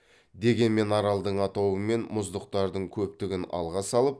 дегенмен аралдың атауы мен мұздықтардың көптігін алға салып